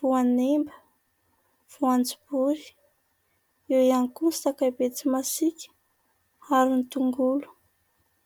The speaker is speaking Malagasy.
voanemba, voanjobory, eo ihany koa ny sakay be tsy masika ary ny tongolo.